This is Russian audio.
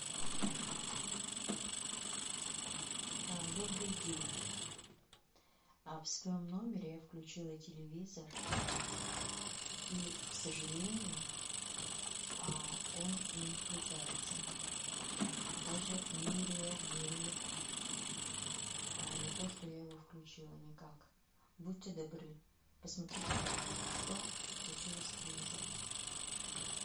добрый день в своем номере я включила телевизор и к сожалению он не включается даже не реагирует на то что я его включила никак будьте добры посмотрите пожалуйста что случилось с телевизором